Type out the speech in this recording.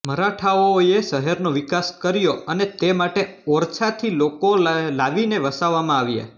મરાઠાઓએ શહેરનો વિકાસ કર્યો અને તે માટે ઓરછા થી લોકોને લાવીને વસાવવામાં આવ્યા